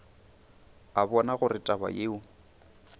a bona gore taba yeo